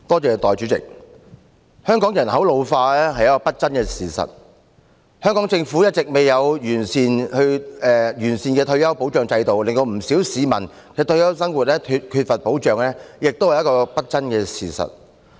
代理主席，香港人口老化是不爭的事實，而香港政府一直未有完善的退休保障制度，令不少市民的退休生活缺乏保障，亦是不爭的事實。